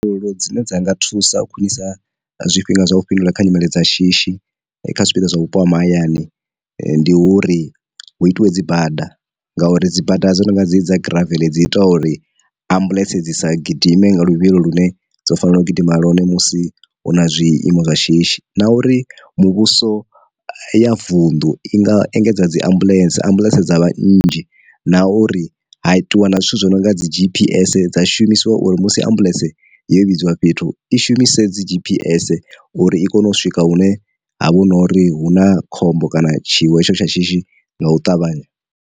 Lo dzine dza nga thusa u khwinisa zwifhinga zwa u fhindula kha nyimele dza shishi kha zwifhinga zwa vhupo ha mahayani ndi uri hu itiwe dzi bada, ngauri dzi bada dzo no nga dze dzi dza graveḽe dzi ita uri ambuḽentse dzi sa gidime nga luvhilo lune dzo fanelaho gidima ḽone musi hu na zwiiimo zwa shishi, na uri muvhuso ya vunḓu i nga engedza dzi ambuḽentse ambuḽentse dza vhanzhi, na uri ha itiwa na zwithu zwi no nga dzi gps dza shumisiwa uri musi ambuḽentse yo vhidziwa fhethu i shumise dzi gps uri i kone u swika hune ha vha hu nori hu na khombo kana tshiwo hetsho tsha shishi nga u ṱavhanya.